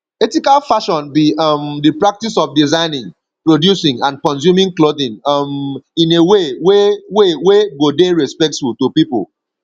ethical fashion be um di practice of designing producing and consuming clothing um in a way wey way wey go dey respectful to people